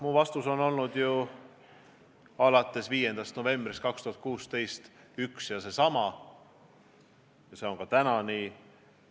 Mu vastus on olnud alates 5. novembrist 2016 üks ja seesama: see protokoll on raugenud, see ei kehti.